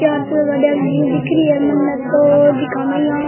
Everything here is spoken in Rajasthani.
चार छयो गाड़िया घनी दिख रही है मने तो जका में यहां --